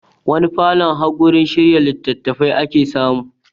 Wani falon har wurin shirya litattafai ake samu